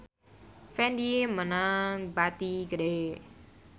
Fendi meunang bati gede